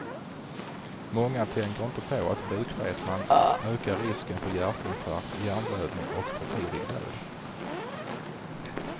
Många tänker inte på att bukfetman ökar risken för hjärtinfarkt, hjärnblödning och för tidig död.